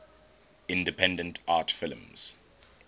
independent art films